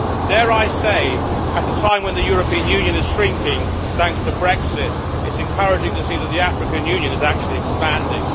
Dare I say, at a time when the European Union is shrinking thanks to Brexit, it is encouraging to see that the African Union is actually expanding.